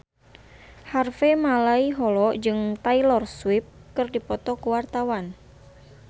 Harvey Malaiholo jeung Taylor Swift keur dipoto ku wartawan